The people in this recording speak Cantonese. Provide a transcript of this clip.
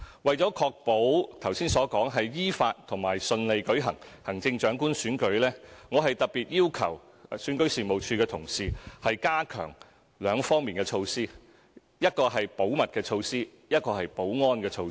為確保行政長官選舉能夠依法和順利舉行，我特別要求選舉事務處的同事加強兩方面的措施，一個是保密的措施，另一個是保安的措施。